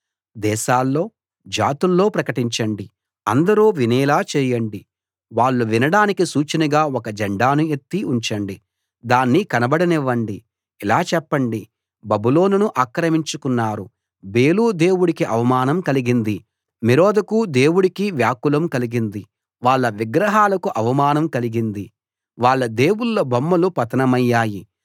దేశాల్లో జాతుల్లో ప్రకటించండి అందరూ వినేలా చేయండి వాళ్ళు వినడానికి సూచనగా ఒక జెండాను ఎత్తి ఉంచండి దాన్ని కనబడనివ్వండి ఇలా చెప్పండి బబులోనును ఆక్రమించుకున్నారు బేలు దేవుడికి అవమానం కలిగింది మెరోదకు దేవుడికి వ్యాకులం కలిగింది వాళ్ళ విగ్రహాలకు అవమానం కలిగింది వాళ్ళ దేవుళ్ళ బొమ్మలు పతనమయ్యాయి